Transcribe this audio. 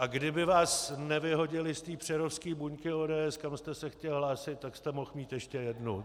A kdyby vás nevyhodili z té přerovské buňky ODS, kam jste se chtěl hlásit, tak jste mohl mít ještě jednu.